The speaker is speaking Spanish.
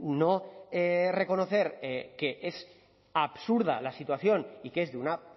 no reconocer que es absurda la situación y que es de una